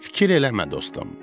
Fikir eləmə dostum.